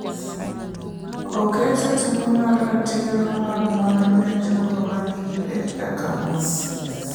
Oketo teko mar ratiro mag mwandu ne jogo ma nigi pek kaka mon.